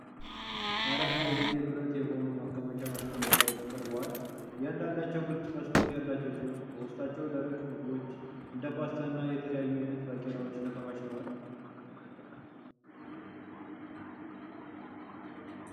አራት አይዝጌ ብረት (Stainless Steel) የሆኑ ማከማቻ ማስቀመጫዎች (ካኒስቴር) ቀርበዋል። እያንዳንዳቸው ግልጽ መስኮት ያላቸው ሲሆን፣ በውስጣቸው ደረቅ ምግቦች፣ እንደ ፓስታ እና የተለያዩ አይነት ባቄላዎች ተከማችተዋል።